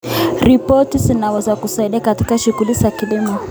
Roboti zinaweza kusaidia katika shughuli za kilimo.